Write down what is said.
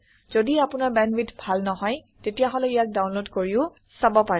যদি আপোনাৰ বেণ্ডৱিডথ ভাল নহয় তেতিয়াহলে ইয়াক ডাউনলোড কৰিও চাব পাৰে